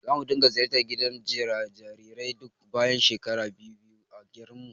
Zamu dinga ziyartar gidan jarirai duk bayan shekara biyu-biyu a garinmu.